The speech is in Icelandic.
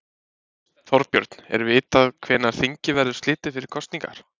Þorbjörn, er vitað hvenær þingi verður slitið fyrir kosningar?